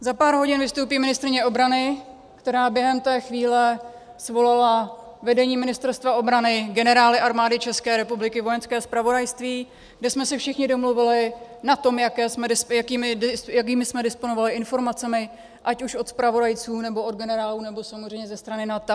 Za pár hodin vystoupí ministryně obrany, která během té chvíle svolala vedení Ministerstva obrany, generály Armády České republiky, Vojenské zpravodajství, kde jsme se všichni domluvili na tom, jakými jsme disponovali informacemi, ať už od zpravodajců, nebo od generálů, nebo samozřejmě ze strany NATO.